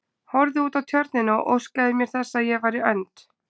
Horfði út á Tjörnina og óskaði mér þess að ég væri önd.